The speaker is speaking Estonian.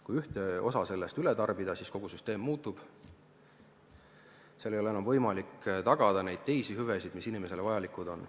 Kui ühte osa sellest üle tarbida, siis kogu süsteem muutub ja ei ole enam võimalik tagada neid teisi hüvesid, mis inimestele vajalikud on.